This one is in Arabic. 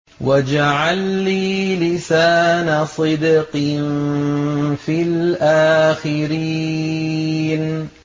وَاجْعَل لِّي لِسَانَ صِدْقٍ فِي الْآخِرِينَ